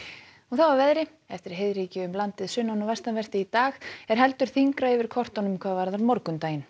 að veðri eftir heiðríkju um landið sunnan og vestanvert í dag er heldur þyngra yfir kortunum hvað varðar morgundaginn